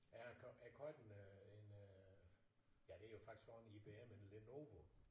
Er er kortene en øh ja det jo faktisk så en IBM en Lenovo?